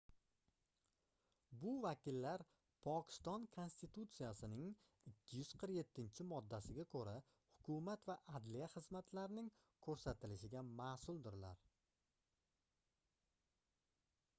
bu vakillar pokiston konstitutsiyasining 247-moddasiga koʻra hukumat va adliya xizmatlarning koʻrsatilishiga masʼuldirlar